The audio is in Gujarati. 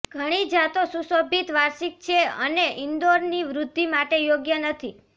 ઘણી જાતો સુશોભિત વાર્ષિક છે અને ઇન્ડોરની વૃદ્ધિ માટે યોગ્ય નથી